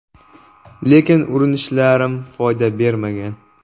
Lekin urinishlarim foyda bermagan.